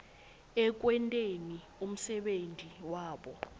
ekwenteni umsebenti wabo